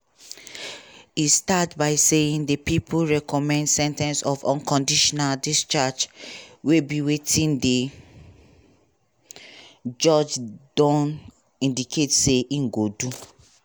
e start by saying di pipo recommend sen ten ce of unconditional discharge" wey be wetin di judge don indicate say im go do.